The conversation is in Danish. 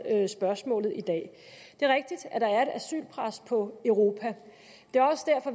spørgsmålet i dag det er rigtigt at der er et asylpres på europa